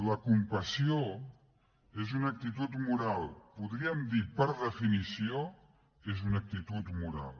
la compassió és una actitud moral podríem dir per definició que és una actitud moral